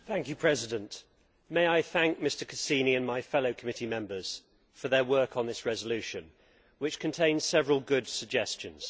Madam President, may I thank Mr Cassini and my fellow committee members for their work on this resolution, which contains several good suggestions.